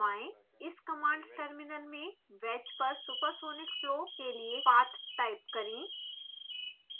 इस command terminal में wedge पर सुपरसॉनिक फ्लो के लिए पाथ टाइप करें